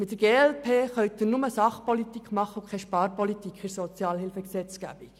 Mit der glp können Sie nur Sachpolitik machen und keine Sparpolitik in der Sozialhilfegesetzgebung.